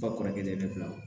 Ka kɔrɔkɛ bila